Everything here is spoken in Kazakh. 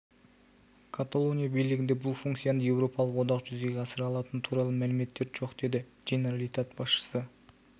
каталония билігінде бұл функцияны еуропалық одақ жүзеге асыра алатыны туралы мәліметтер жоқ деді женералитат басшысы